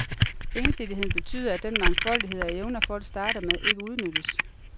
Ensidigheden betyder, at den mangfoldighed af evner, folk starter med, ikke udnyttes.